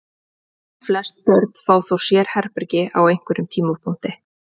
Flest börn fá þó sérherbergi á einhverjum tímapunkti.